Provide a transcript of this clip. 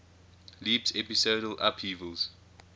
leaps episodal upheavals